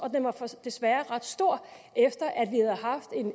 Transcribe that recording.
den var desværre ret stor efter at